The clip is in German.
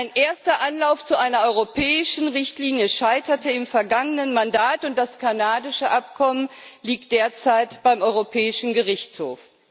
Ein erster Anlauf zu einer europäischen Richtlinie scheiterte im vergangenen Mandat, und das kanadische Abkommen liegt derzeit beim Europäischen Gerichtshof.